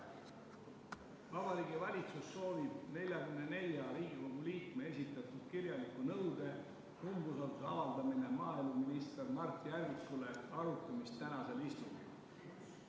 Vabariigi Valitsus soovib 44 Riigikogu liikme esitatud kirjaliku nõude "Umbusalduse avaldamine maaeluminister Mart Järvikule" arutamist tänasel istungil.